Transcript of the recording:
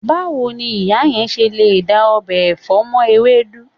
Báwo ni ìyá yẹn ṣe lè da ọbẹ̀ ọ̀fẹ́ mọ́ ewédú?